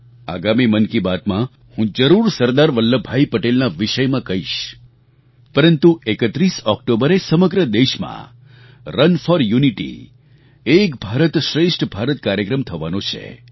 આગામી મન કી બાતમાં હું જરૂર સરદાર વલ્લભભાઈ પટેલના વિષયમાં કહીશ પરંતુ ૩૧ ઑક્ટોબરે સમગ્ર દેશમાં run for unity Ek Bharat Shreshtha Bharat કાર્યક્રમ થવાનો છે